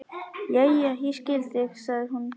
Jæja, ég skil, sagði hún.